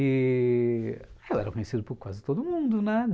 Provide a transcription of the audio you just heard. E... eu era conhecido por quase todo mundo, né?